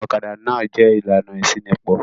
Ọ̀kadà náà jẹ̀ ìlànà ìṣínípò.